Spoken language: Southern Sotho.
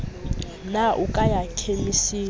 na o ka ya khemising